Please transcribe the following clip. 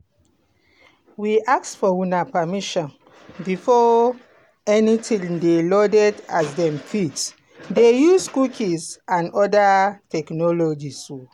we ask for una permission before anytin dey loaded as dem fit dey use cookies and oda technologies o.